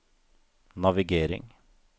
navigering